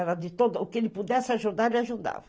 Era de todo... O que ele pudesse ajudar, ele ajudava.